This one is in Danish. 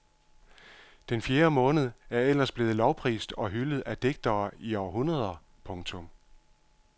Den fjerde måned er ellers blevet lovprist og hyldet af digtere i århundreder. punktum